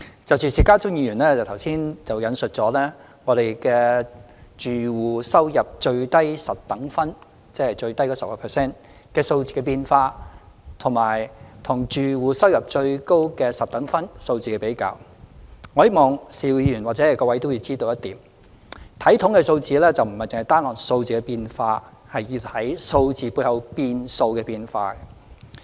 就邵家臻議員剛才引述我們的住戶收入最低十等分——即最低的 10%—— 數字的變化，以及住戶收入最高十等分數字的比較，我希望邵議員或各位也要知道一點，就是在看統計數字時，不是單看數字的變化，而要看數字背後變數的變化。